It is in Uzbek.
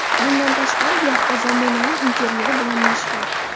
Bundan tashqari, yaxta zamonaviy interyeri bilan mashhur.